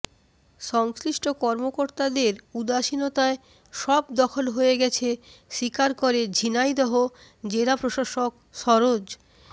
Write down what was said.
সংশ্লিষ্ট কর্মকর্তাদের উদাসীনতায় সব দখল হয়ে গেছে স্বীকার করে ঝিনাইদহ জেলা প্রশাসক সরোজ